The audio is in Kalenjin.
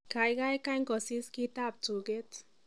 Kaikai kany kusis kitab tuget